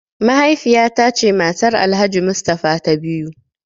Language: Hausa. Mahaifiya ta ce matar Alhaji mustafa ta biyu.